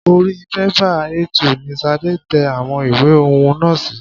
Orí bẹ́bà A2 ni Sade tẹ àwọn ìwé ọ̀hún nà sí.